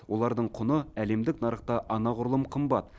олардың құны әлемдік нарықта анағұрлым қымбат